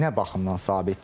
Yəni nə baxımdan sabit deyil?